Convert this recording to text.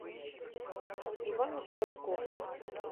ивано франковск